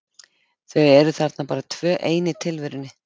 Þau eru þarna bara tvö ein í tilverunni.